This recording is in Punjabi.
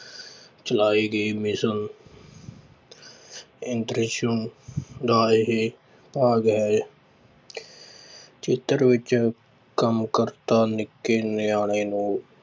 ਚਲਾਏ ਗਏ ਮਿਸ਼ਨ ਦਾ ਇਹ ਭਾਗ ਹੈ ਚਿੱਤਰ ਵਿੱਚ ਕਾਰਯਕਰਤਾ ਨਿੱਕੇ ਨਿਆਣੇ ਨੂੰ